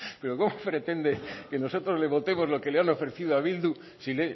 pero cómo pretende que nosotros le votemos lo que le han ofrecido a bildu si